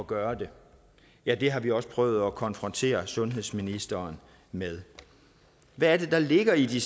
gøre det ja det har vi også prøvet at konfrontere sundhedsministeren med hvad er det der ligger i de